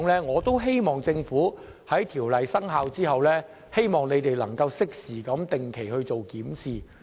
我希望政府在條例生效後，能夠定期進行檢視。